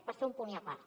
per fer un punt i a part